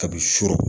Kabi surɔ